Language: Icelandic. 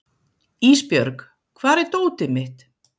Ísbjörg, hvar er dótið mitt?